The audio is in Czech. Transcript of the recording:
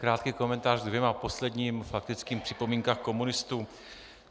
Krátký komentář ke dvěma posledním faktickým připomínkám komunistů.